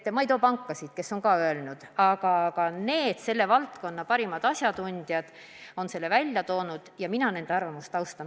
Ma ei too esile pankasid, kes ka on seda öelnud, aga teisedki selle valdkonna parimad asjatundjad on selle välja toonud ja mina nende arvamust austan.